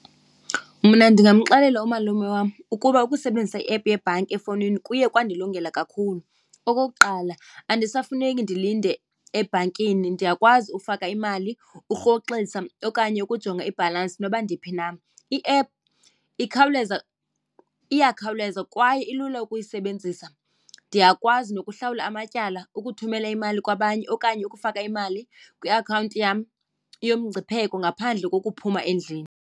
Mna ndingamxelela umalume wam ukuba ukusebenzisa iephu yebhanki efowunini kuye kwandilungela kakhulu. Okokuqala andisafuneki ndilinde ebhankini, ndiyakwazi ufaka imali urhoxisa okanye ukujonga ibhalansi noba ndiphi na. I-app ikhawuleza, iyakhawuleza kwaye ilula ukuyisebenzisa. Ndiyakwazi nokuhlawula amatyala, ukuthumela imali kwabanye okanye ukufaka imali kwiakhawunti yam yomngcipheko ngaphandle kokuphuma endlini.